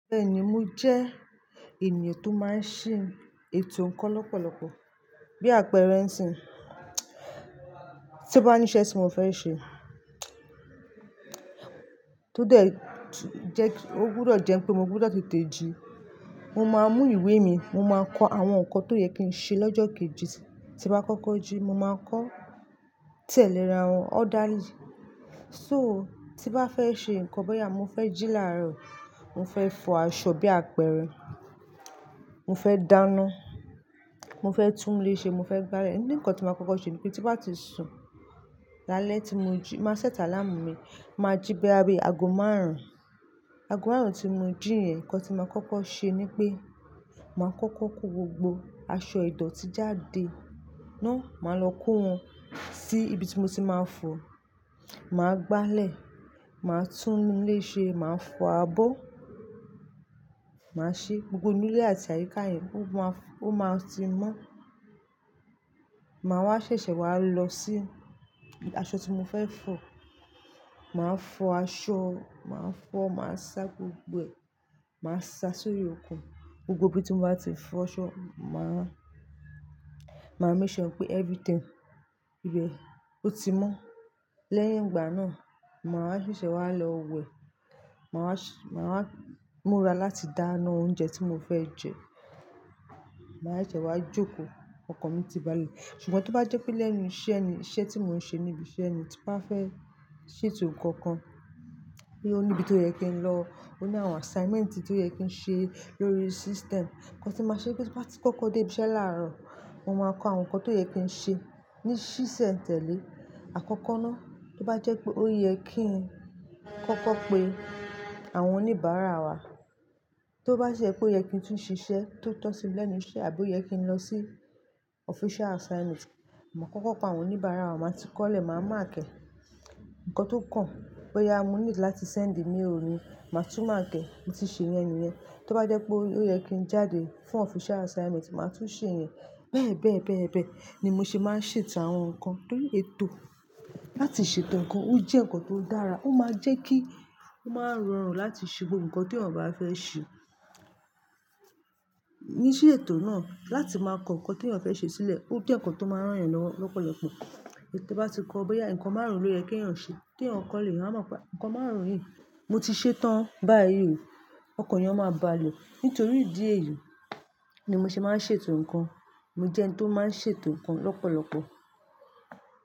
Bẹ́ẹ̀ni, mo jẹ́ ènìyàn tó máa ń ṣe ètò ǹkan lọ́pọ̀lọpọ̀. Bí àpẹẹrẹ ǹsìn, tí o bá ní iṣẹ́ tí mo fẹ́ ṣe, tó dẹ̀, ó gbúdọ̀ jẹ́ pé mo gbúdọ̀ tètè jí. Mo máa mú ìwé mi, mo máa kọ àwọn ǹkan tó yẹ kí n ṣe lọ́jọ́ kejì. Tí bá kọ́kọ́ jí, mo máa kọ́ tẹ́lẹ̀ ara wọn orderly. So tí n bá fẹ́ ṣe ǹkan, bóyá mo fẹ́ jí láàárọ̀, mo fẹ́ fọ aṣọ bí àpẹrẹ, mo fẹ́ dáná, mo fẹ́ tún ilé ṣe, mo fẹ́ gbálẹ̀, ní ǹkan tí màá kọ́kọ́ ṣe ní pé tí bá ti sùn lálẹ́ tí mo jí, màá set alaámù mi, màá jí bóyá bi aago márùn-ún. Aago márùn-ún tí mo jí yẹn, ǹkan tí maa kọ́kọ́ ṣe ní pé màá kọ́kọ́ kó gbogbo aṣọ idọ̀tí jáde náà, màá lọ kó wọn sí ibi tí mo ti máa fọ̀, màá gbálẹ̀, màá tún ilé ṣe, màá fọ abọ́, màá ṣe gbogbo inú ilé àti àyíká yẹn ó máa ti mọ́. Màá wá ṣẹ̀ṣẹ̀ wá lọ sí aṣọ tí mo fẹ́ fọ̀, màá fọ aṣọ, màá fọ̀, màá sa gbogbo ẹ̀, màá sa sórí ọkùn, gbogbo ibi tí mo bá ti fọ aṣọ, màá make sure pé everything ibẹ̀ ó ti mọ́. Lẹ́yìn ìgbà náà, màá ṣẹ̀ṣẹ̀ wá lọ wẹ̀, màá múra láti dáná oúnjẹ tí mo fẹ́ jẹ, màá ṣẹ̀ṣẹ̀ wá jókòó, ọkan mi ti báàlù. Ṣùgbọ́n tí ó bá jẹ́ pé lẹ́nu iṣẹ́ ni, iṣẹ́ tí mò ń ṣe ni ibi iṣẹ́ ni tí bá fẹ́ ṣètò ǹkan kan, bóyá o níbi tó yẹ kí n lọ, ó ní àwọn assignment tí ó yẹ kí n ṣe lórí system. Ǹkan tí màá ṣe nipé tí n bá ti kọ́kọ́ dé ibi iṣẹ́ láàárọ̀, mo máa kọ àwọn ǹkan tó yẹ kí n ṣe ní ṣíṣẹ̀ tẹ̀lé. Àkọ́kọ́ náà, tí ó bá jẹ́ pé ó yẹ kí n kọ́kọ́ pe àwọn oníbàárà wa, tí ó bá ṣe pé ó yẹ kí n tún ṣiṣẹ́ tó tọ́ sí lẹ́nu iṣẹ́ àbí ó yẹ kí n lọ sí official assignment, màá kọ́kọ́ pe àwọn oníbàárà wa, màá ti kọ́lẹ̀, màá mark e ǹkan tó kàn. Bóyá mo need láti send mail ni, màá tún màaki e, mo ti ṣe yẹn nìyẹn. Tí ó bá jẹ́ pé ó yẹ kí n jáde fún official assignment, màá tún ṣe yẹn. Bẹ́ẹ̀ bẹ́ẹ̀ bẹ́ẹ̀ bẹ́ẹ̀ ni mo ṣe máa ń ṣètò àwọn ǹkan. Torí ètò láti ṣètò ǹkan ó jẹ́ ǹkan tó dára, ó máa ń jẹ́ kí ó máa rọrùn láti ṣe gbogbo ǹkan tí ènìyàn bá fẹ́ ṣe. Ní ṣíṣ'ètò náà, láti máa kọ ǹkan tí ènìyàn fẹ́ ṣe sílẹ̀, ó jẹ́ ǹkan tó máa ń ràn eeyan lowo lọ́pọ̀lọpọ̀. Tí ó bá ti kọ bóyá ǹkan márùn-ún lóyẹ kí ènìyàn ṣe, tí ènìyàn kọ́ lé, eeyan à mọ̀ pé ǹkan márùn-ún yìí mo ti ṣe tán báyìí ò. Ọkàn ènìyàn máa bà lè. Nítorí ìdí èyí ni mo ṣe máa ń ṣètò ǹkan. Mo jẹ́ ẹni tó máa ń ṣètò ǹkan lọ́pọ̀lọpọ̀.